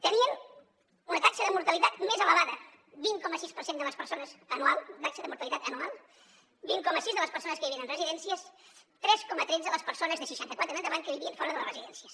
tenien una taxa de mortalitat més elevada vint coma sis per cent de les persones taxa de mortalitat anual vint coma sis de les persones que vivien en residències tres coma tretze les persones de seixanta quatre en endavant que vivien fora de les residències